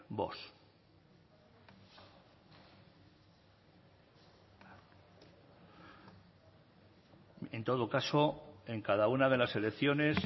vox en todo caso en cada una de las elecciones